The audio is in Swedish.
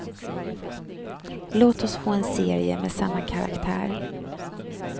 Låt oss få en serie med samma karaktär.